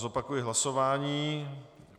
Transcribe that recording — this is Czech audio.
Zopakuji hlasování.